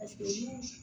Paseke ni